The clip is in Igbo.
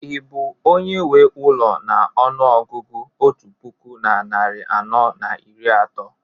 ị bụ onye nwe ụlọ na ọnụ ọgụgụ otu puku na narị anọ na iri atọ?